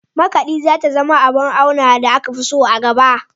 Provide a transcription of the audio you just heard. Makaɗi za ta zama abar auna da aka fi so a gaba.